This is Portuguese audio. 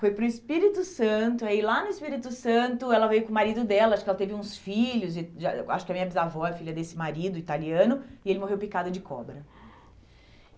Foi para o Espírito Santo, aí lá no Espírito Santo ela veio com o marido dela, acho que ela teve uns filhos, e acho que a minha bisavó é filha desse marido italiano, e ele morreu picado de cobra.